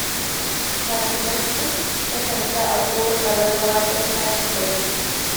Kafin barci, nakan sa agogon ƙararrawa don tashi da wuri.